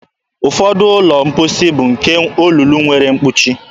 Ụfọdụ ụlọ mposi bụ nke olulu nwere mkpuchi.